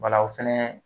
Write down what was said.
Wala o fɛnɛ